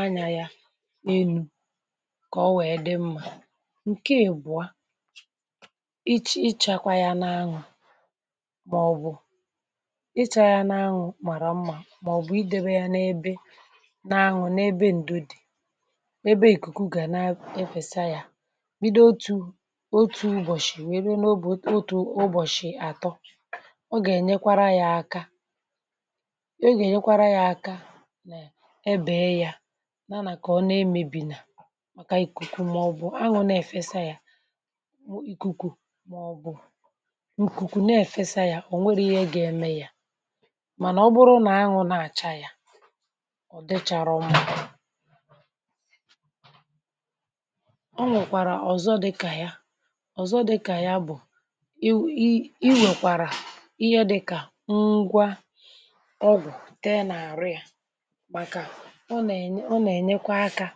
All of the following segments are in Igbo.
anyà ya n’enu kà ọ wee dị mmȧ nke ị bụ̀a ichė ichakwa ya n’aṅụ̀ i chọ̇ yȧ n’anwụ̇ màrà mmȧ màọ̀bụ̀ idėbe yȧ n’ebe n’anwụ̇ n’ebe ǹdèdè n’ebe ìkùkù gà-e na-efèsia yȧ bido otù otù ụbọ̀shị̀ wèe be n’obù otù ụbọ̀shị̀ àtọ ọ gà-ènyekwara yȧ aka o gà-ènyekwara yȧ aka ebèe yȧ n’anà kà ọ n’emėbìnà màkà ìkùkù màọ̀bụ̀ anwụ̇ na-èfesa yȧ i kùkù màọ̀bụ̀ ikuku na efesa ya onweghi ihe ga eme ya mànà ọ bụrụ nà aṅụ na-àcha ya ọ̀dịchàrọṁ ọ nwèkwàrà ọ̀zọ dịkà ya ọ̀zọ dịkà ya bụ̀ i i i wèkwàrà ihe dịkà ngwa ọgụ̀ tee na-àrụ ya màkà ọ nà-ènye ọ nà-ènyekwa akȧ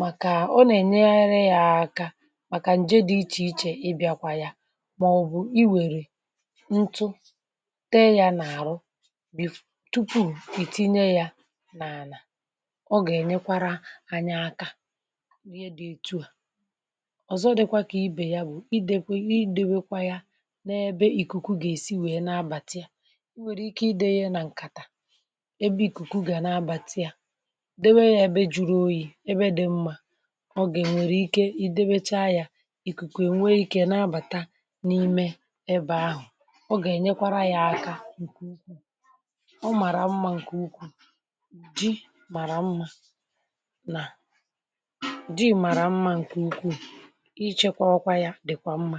màkà ọ nà-ènyere ya akȧ màkà ǹje dị ichè ichè ị bịakwa ya ma ọbụ ịwere ntụ te yà nà-àrụ bì tupuù ì tinye yȧ n’ànà ọ gà-ènyekwara anyi aka ihe dị̇ ètu à ọ̀zọ dịkwa kà ibè ya bụ̀ idekwe idewekwa ya n’ebe ìkùkù gà-èsi wèe nabàtà i nwèrè ike idė yȧ nà ǹkàtà ebe ìkùkù gà-anabàtà ya dewe yȧ ebe juru oyi̇ ebe dị̇ mmȧ ọ gà nwèrè ike ì debecha yȧ ìkùkù è nwee ikė nabàta n’ime ebe ahụ̀ ọga enyekwara ya aka ǹkè ụkwụ̇ ọ màrà mmȧ ǹkè ụkwụ̇ dị màrà mmȧ nà dị màrà mmȧ ǹkè ụkwụ̇ ichėkwȧ ọkwa yȧ dị̀kwà mmȧ.